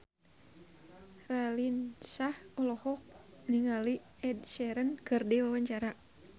Raline Shah olohok ningali Ed Sheeran keur diwawancara